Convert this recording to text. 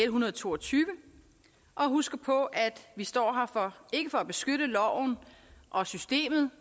hundrede og to og tyve og husker på at vi står her ikke for at beskytte loven og systemet